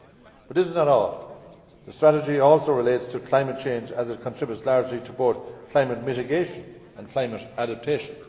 But this is not all. The strategy also relates to climate change as it contributes largely to both climate mitigation and climate adaptation.